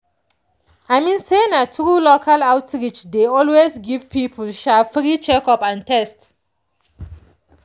i mean say na true local outreach dey always give people free checkup and test.